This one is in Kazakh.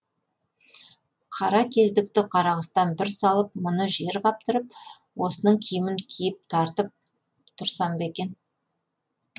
қара кездікті қарақұстан бір салып мұны жер қаптырып осының киімін киіп тартып тұрсам ба екен